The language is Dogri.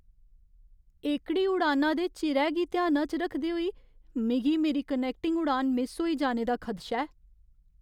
एह्कड़ी उड़ाना दे चिरै गी ध्याना च रखदे होई मिगी मेरी कनैक्टिंग उड़ान मिस होई जाने दा खदशा ऐ।